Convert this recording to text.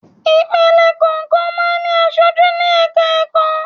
Ìpele kọ̀ọ̀kan máa ń ní aṣojú ní ẹ̀ka ẹ̀kọ́.